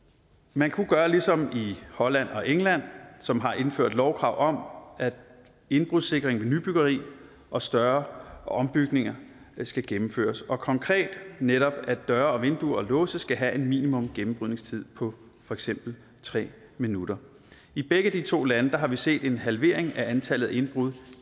man kunne gøre ligesom i holland og england som har indført lovkrav om at indbrudssikring ved nybyggeri og større ombygninger skal gennemføres og konkret netop at døre og vinduer og låse skal have en minimumsgennembrydningstid på for eksempel tre minutter i begge de to lande har vi set en halvering af antallet af indbrud